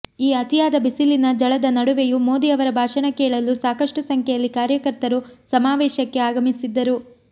ಈ ಅತಿಯಾದ ಬಿಸಿಲಿನ ಝಳದ ನಡುವೆಯೂ ಮೋದಿ ಅವರ ಭಾಷಣ ಕೇಳಲು ಸಾಕಷ್ಟು ಸಂಖ್ಯೆಯಲ್ಲಿ ಕಾರ್ಯಕರ್ತರು ಸಮಾವೇಶಕ್ಕೆ ಆಗಮಿಸಿದ್ದರು